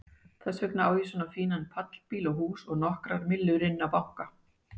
Þess vegna á ég svona fínan pallbíl og hús og nokkrar millur inni á banka.